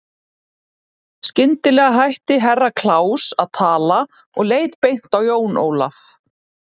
Skyndilega hætti Herra Kláus að tala og leit beint á Jón Ólaf.